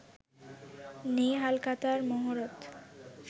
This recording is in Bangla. নেই ‘হালখাতা’র মহরত